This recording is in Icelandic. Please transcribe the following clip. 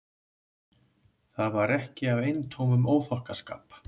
Það var ekki af eintómum óþokkaskap.